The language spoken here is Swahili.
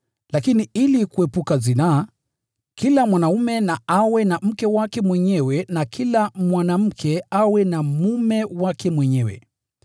Lakini ili kuepuka zinaa, kila mwanaume na awe na mke wake mwenyewe na kila mwanamke awe na mume wake mwenyewe.